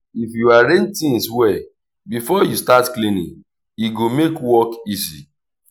if you arrange things well before you start cleaning e go make work easy.